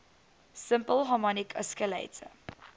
simple harmonic oscillator